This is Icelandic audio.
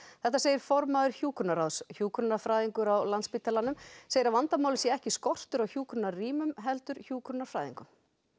þetta segir formaður hjúkrunarráðs hjúkrunarfræðingur á Landspítalanum segir að vandamálið sé ekki skortur á hjúkrunarrýmum heldur hjúkrunarfræðingum